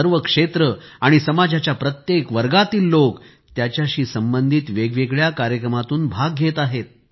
सर्व क्षेत्रे आणि समजाच्या प्रत्येक वर्गातील लोक त्याच्याशी संबंधित वेगवेगळ्या कार्यक्रमांत भाग घेत आहेत